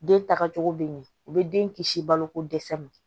Den tagacogo bɛ ɲɛ u bɛ den kisi balo ko dɛsɛ ma